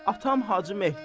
Atam Hacı Mehdi.